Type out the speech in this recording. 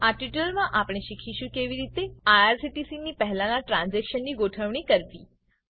આ ટ્યુટોરીયલમાં આપણે શીખીશું કે કેવી રીતે આઇઆરસીટીસી ની પહેલાના ટ્રાન્ઝેક્શનની ગોઠવણ કરવી